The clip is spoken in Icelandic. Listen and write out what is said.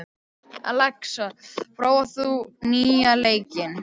Alexa, hefur þú prófað nýja leikinn?